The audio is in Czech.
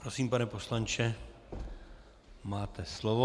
Prosím, pane poslanče, máte slovo.